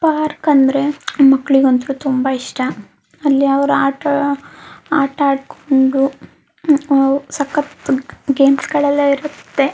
Park ಅಂದರೆ ಮಕ್ಕಳಿಗ್ ಒಂಥರಾ ತುಂಬಾ ಇಷ್ಟ ಅಲ್ಲಿ ಅವರು ಆಟ ಆಟ ಆಡಿಕೊಂಡು ಸಕ್ಕತ್ ಗೇಮ್ಸ್ ಗಳೆಲ್ಲ ಇರತ್ತೆ .